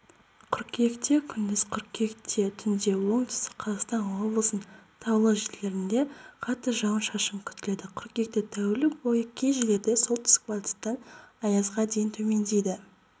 қыркүйекте күндіз қыркүйектетүндеоңтүстік қазақстан облысының таулы жерлерінде қатты жауын-шашын күтіледі қыркүйекте тәулік бойыкей жерлерде солтүстік-батыстан екпіні